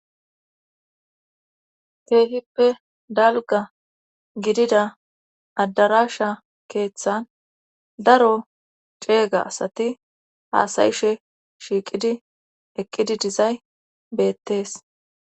Keehippe dalga gidida addarasha keeththan daro ceega asati haasayishe shiiqidi eqqidi dizay beettees.